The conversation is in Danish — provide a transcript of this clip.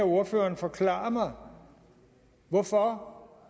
ordføreren forklarer mig hvorfor